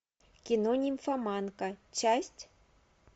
кино нимфоманка часть